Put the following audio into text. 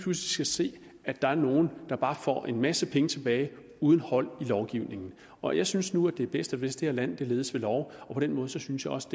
skal se at der er nogle der bare får en masse penge tilbage uden hold i lovgivningen og jeg synes nu det er bedst hvis det her land ledes ved lov og på den måde synes jeg også